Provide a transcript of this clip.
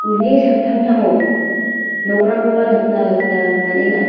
uni samtangtango nokrangkoba nikna gita man·enga.